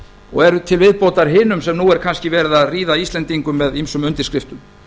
og eru til viðbótar hinum sem nú er kannski verið að ríða íslendingum með ýmsum undirskriftum